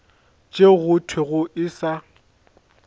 tšeo go thwego e sa